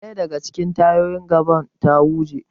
Daya daga cikin tayoyin gaban ta huje.